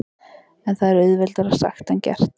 En það er auðveldara sagt en gert.